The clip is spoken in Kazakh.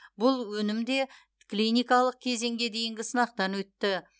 бұл өнім де клиникалық кезеңге дейінгі сынақтан өтті